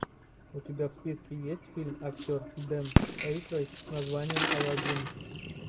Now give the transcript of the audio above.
у тебя в списке есть фильм актер дэн эйкройд с названием алладин